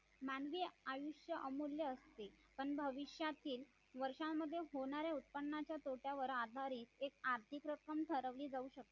मानवी आयुष्य अमूल्य असते पण भविष्यातील वर्षांमध्ये होणारे उत्पन्नाच्या तोट्यावर आधारित एक आर्थिक रक्कम ठरवली जाऊ शकते